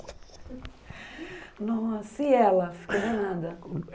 Nossa, e ela? Falou nada...